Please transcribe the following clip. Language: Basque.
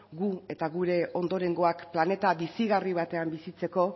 guk eta gure ondorengoak planeta bizigarri batean bizitzeko